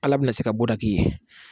Ala bɛna se ka bɔda k'i ye.